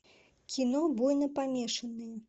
кино буйнопомешанные